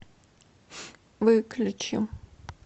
выключи